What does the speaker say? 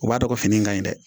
O b'a dɔn ko fini ka ɲi dɛ